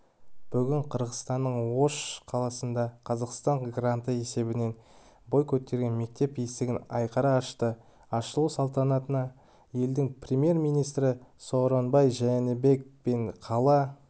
бүгін қырғызстанның ош қаласында қазақстан гранты есебінен бой көтерген мектеп есігін айқара ашты ашылу салтанатына елдің премьер-министрі сооронбай жээнбеков пен қала